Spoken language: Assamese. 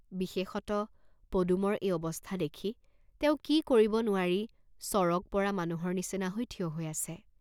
বিশেষত, পদুমৰ এই অৱস্থা দেখি তেওঁ কি কৰিব নোৱাৰি চৰগ পৰা মানুহৰ নিচিনা হৈ থিয় হৈ আছে।